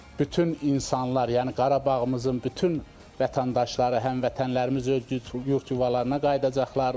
Bütün insanlar, yəni Qarabağımızın bütün vətəndaşları, həmvətənlərimiz öz yurd yuvalarına qayıdacaqlar.